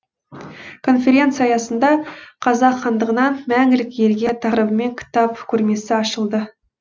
конференция аясында қазақ хандығынан мәңгілік елге тақырыбымен кітап көрмесі ашылды